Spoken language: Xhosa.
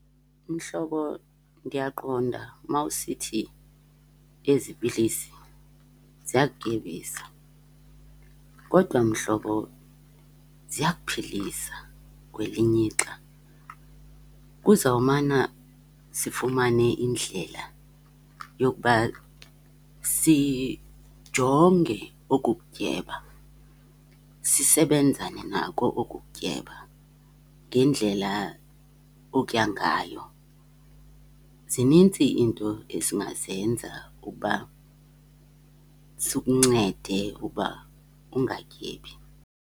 Mhlobo, ndiyaqonda mawusithi ezi pilisi ziyakutyebisa, kodwa mhlobo ziyakuphilisa kwelinye ixa. Kuzawumana sifumane indlela yokuba sijonge oku kutyeba, sisebenzane nako oku kutyeba ngendlela otya ngayo. Zinintsi iinto esingazenza uba sikuncede uba ungatyebi.